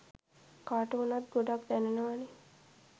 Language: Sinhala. කාට වුණත් ගොඩක් දැනෙනවනෙ.